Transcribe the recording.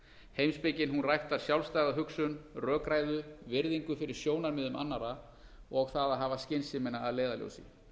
heimspekin ræktar sjálfstæða hugsun rökræðu virðingu fyrir sjónarmiðum annarra og það að hafa skynsemina að leiðarljósi